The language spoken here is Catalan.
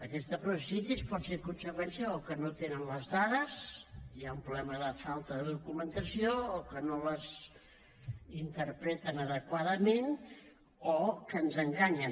aquesta processitis pot ser conseqüència de o que no tenen les dades hi ha un problema de falta de documentació o que no les interpreten adequadament o que ens enganyen